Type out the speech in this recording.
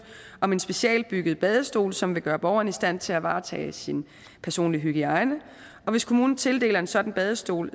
om en specialbygget badestol som vil gøre borgeren i stand til at varetage sin personlige hygiejne og hvis kommunen tildeler en sådan badestol